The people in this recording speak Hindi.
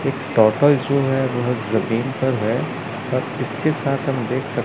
जो जमीन पर है किसके साथ हम देख सकते--